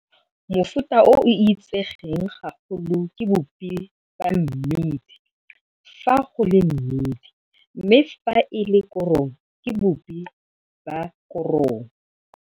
Mofuta o o itsegeng gagolo ke boupi wa mmidi fa go le mmidi mme fa e le korong ke boupi ba korong.